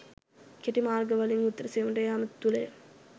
කෙටි මාර්ග වලින් උත්තර සෙවීමට යාම තුළය.